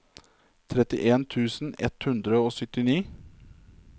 trettien tusen ett hundre og syttini